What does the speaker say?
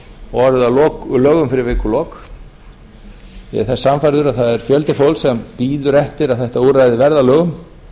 og orðið að lögum fyrir vikulok ég er sannfærður um að það er fjöldi fólks sem bíður eftir að þetta úrræði verði að lögum